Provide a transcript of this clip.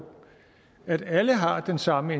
at alle har den samme